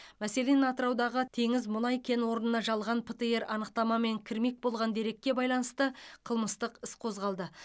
мәселен атыраудағы теңіз мұнай кен орнына жалған птр анықтамамен кірмек болған дерекке байланысты қылмыстық іс қозғалды